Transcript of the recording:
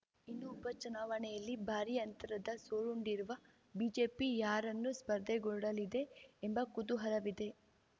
ಇನ್ನು ಉಪ ಚುನಾವಣೆಯಲ್ಲಿ ಭಾರೀ ಅಂತರದ ಸೋಲುಂಡಿರುವ ಬಿಜೆಪಿ ಯಾರನ್ನು ಸ್ಪರ್ಧೆಗೊಡ್ಡಲಿದೆ ಎಂಬ ಕುತೂಹಲವಿದೆ